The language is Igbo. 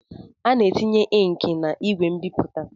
A na-etinye inki n'igwe mbipụta.